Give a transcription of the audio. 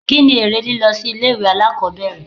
Kí ni èrè lílọ sí ilé ìwé alákòbẹ̀rẹ̀?